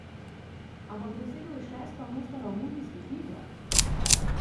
Ampak dosegel je šesto mesto na olimpijskih igrah!